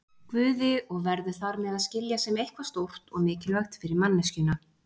Guði og verður þar með að skilja sem eitthvað stórt og mikilvægt fyrir manneskjuna.